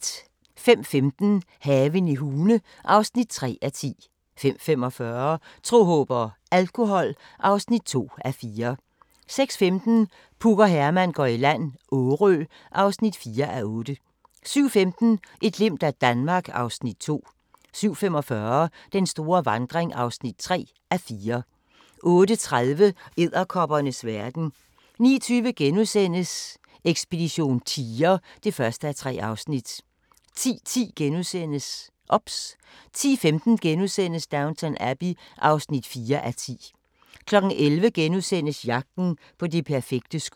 05:15: Haven i Hune (3:10) 05:45: Tro, håb og alkohol (2:4) 06:15: Puk og Herman går i land - Årø (4:8) 07:15: Et glimt af Danmark (Afs. 2) 07:45: Den store vandring (3:4) 08:30: Edderkoppernes verden 09:20: Ekspedition tiger (1:3)* 10:10: OBS * 10:15: Downton Abbey (4:10)* 11:00: Jagten på det perfekte skud *